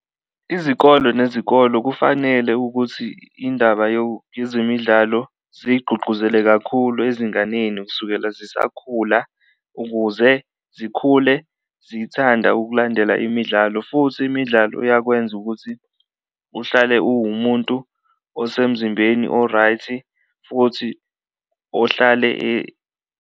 Izikolo nezikolo kufanele ukuthi indaba yezemidlalo ziyigqugquzele kakhulu ezinganeni kusukela zisakhula ukuze zikhule zithanda ukulandela imidlalo, futhi imidlalo iyakwenza ukuthi uhlale uwumuntu osemzimbeni o-right futhi ohlale .